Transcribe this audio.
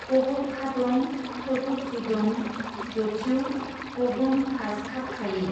गबोबखादं सजुबजुदं जचीउ गबोमखाजखाबखायि।